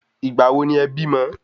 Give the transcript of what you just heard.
Ìgbà wo ni e bímọ?